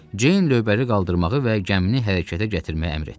Ceyn lövbəri qaldırmağı və gəmini hərəkətə gətirməyi əmr etdi.